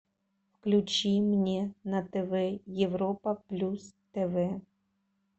включи мне на тв европа плюс тв